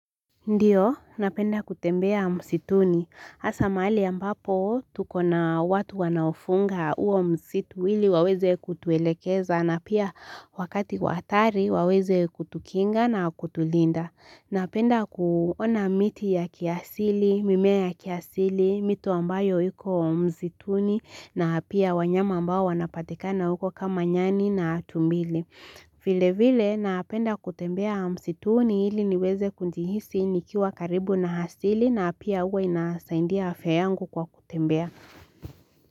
Ndio, napenda kutembea msituni. Hasa mahali ambapo tuko na watu wanaofunga huo msitu hili waweze kutuelekeza na pia wakati wa hatari waweze kutukinga na kutulinda. Napenda kuona miti ya kiasili, mimea ya kiasili, mito ambayo iko msituni na pia wanyama ambao wanapatikana huko kama nyani na tumbili. Vilevile napenda kutembea msituni ili niweze kujihisi nikiwa karibu na asili na pia huwa inasaidia afya yangu kwa kutembea.